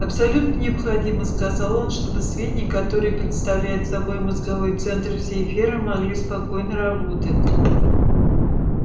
абсолютно необходимо сказал он чтобы свиньи которые представляют собой мозговой центр всей фермы могли спокойно работать